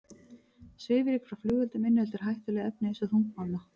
Svifryk frá flugeldum inniheldur hættuleg efni eins og þungmálma.